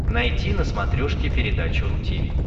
найти на смотрешке передачу ру ти ви